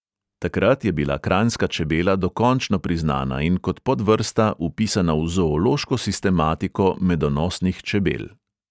Takrat je bila kranjska čebela dokončno priznana in kot podvrsta vpisana v zoološko sistematiko medonosnih čebel.